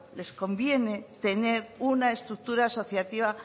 les conviene tener una estructura asociativa